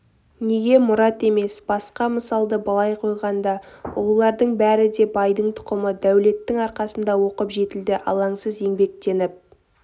неге мұрат емес басқа мысалды былай қойғанда ұлылардың бәрі де байдың тұқымы дәулеттің арқасында оқып жетілді алаңсыз еңбектеніп